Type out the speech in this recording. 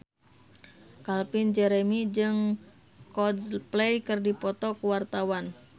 Calvin Jeremy jeung Coldplay keur dipoto ku wartawan